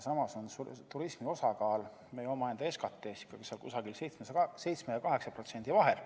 Samas on turismi osakaal meie SKT-s kusagil 7 ja 8% vahel.